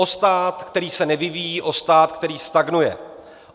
O stát, který se nevyvíjí, o stát, který stagnuje.